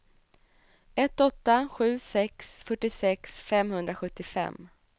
ett åtta sju sex fyrtiosex femhundrasjuttiofem